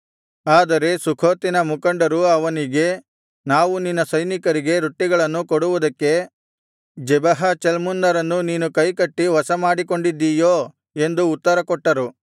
ಆದರೆ ಸುಖೋತಿನ ಮುಖಂಡರು ಅವನಿಗೆ ನಾವು ನಿನ್ನ ಸೈನಿಕರಿಗೆ ರೊಟ್ಟಿಗಳನ್ನು ಕೊಡುವುದಕ್ಕೆ ಜೆಬಹ ಚಲ್ಮುನ್ನರನ್ನು ನೀನು ಕೈಕಟ್ಟಿ ವಶಮಾಡಿಕೊಂಡಿದ್ದೀಯೋ ಎಂದು ಉತ್ತರಕೊಟ್ಟರು